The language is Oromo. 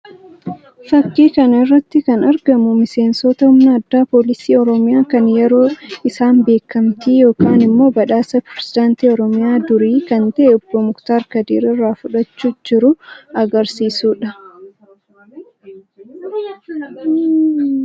Fakkii kana irratti kan argamu miseensota humna addaa poolisii Oromiyaa kan yeroo isaan beekamtii yookiin immoo badhaasa pirezidaantii Oromiyaa durii kan ta'e obbo Muktaar Kadir irraa fudhachuu jiru agarsiisuu dha.